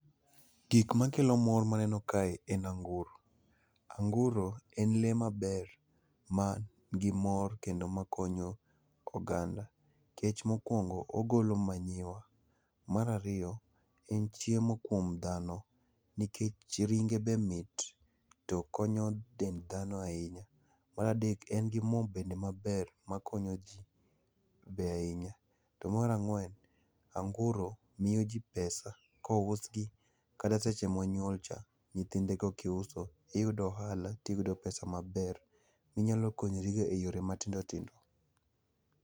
Gik makelo mor maneno kae en anguro. anguro en lee maber ma nigi mor kendo makonyo oganda, nikech mokwongo ogolo manyiwa. Mar ariyo, en chiemo kuom dhano nikech ringe be mit to konyo dend dhano ahinya. Mar adek, en gi mo bende maber makonyo ji be ahinya. To mar ang'wen, anguro miyo ji pesa kousgi, kata seche monyuol cha, nyithindego kiuso iyudo ohala tiyudo pesa maber minyalo konyrigo e yore matindo tindo.